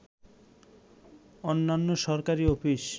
অন্যান্য সরকারি অফিস